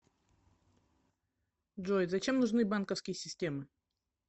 джой зачем нужны банковские системы